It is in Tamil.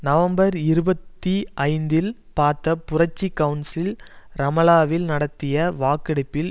நவம்பர் இருபத்தி ஐந்தில் பாத்த புரட்சி கவுன்சில் ரமலாவில் நடத்திய வாக்கெடுப்பில்